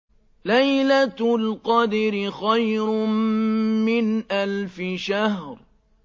لَيْلَةُ الْقَدْرِ خَيْرٌ مِّنْ أَلْفِ شَهْرٍ